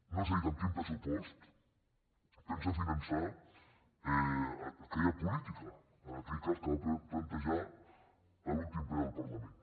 no ens ha dit amb quin pressupost pensa finançar aquella política en aquell cas que va plantejar a l’últim ple del parlament